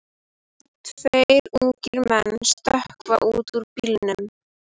Tveir ungir menn stökkva út úr bílnum.